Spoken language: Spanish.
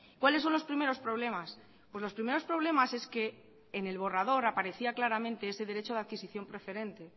cuáles son los primeros problemas los primeros problemas es que en el borrador aparecía claramente ese derecho a adquisición preferente